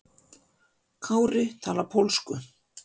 Kári talar pólsku.